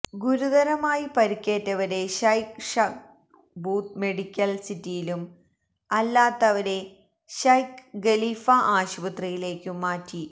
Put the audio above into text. ഗുരുതരമായി പരുക്കേറ്റവരെ Sheikh Shakhbout medical സിറ്റിയിലും അല്ലാത്തവരെ ശൈഖ് ഖലീഫാ ആശുപത്രിയിലേക്കും മാറ്റി